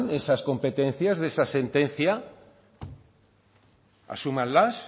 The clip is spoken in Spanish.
esa competencia de esa sentencia asúmanlas